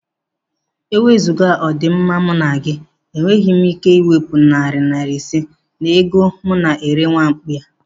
Eweziga ọdi mma m na gị, enweghị me ike iwepụ narị naira ise n'ego m na-ere nwamkpi a.